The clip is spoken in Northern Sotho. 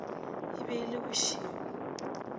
e be e le bošego